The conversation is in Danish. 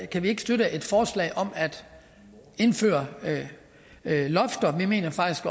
kan vi ikke støtte et forslag om at indføre lofter vi mener faktisk